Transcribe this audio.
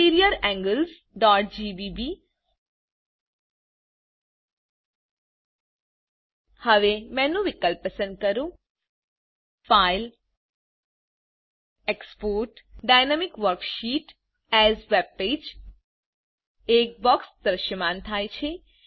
interior anglesજીજીબી હવે menu વિકલ્પ પસંદ કરો file export GTGT dynamic worksheet AS webpage એક બોક્સ દ્રશ્યમાન થાય છે